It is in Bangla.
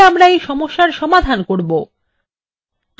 কিভাবে আমরা এই সমস্যার সমাধান করব